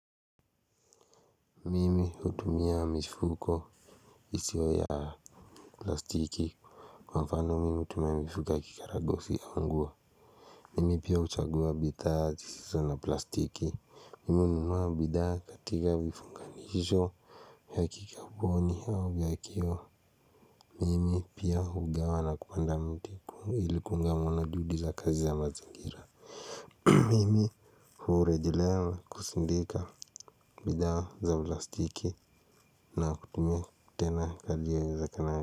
Mimi utumia mifuko isiyo ya plastiki kwa mfano mimi utumia mifuko ya kikaragosi ya nguo. Mimi pia huchagua bidhaa zisizo na plastiki. Mimi ununua bidhaa katika vifunganisho ya kikaboni au ya kioo. Mimi pia ugawa na kupanda mtiku ili kuanga ameona juhudi za kazi ya mazingira mimi urejilea na kusindika bidha za plastiki na kutumia tena inavyowe zekana.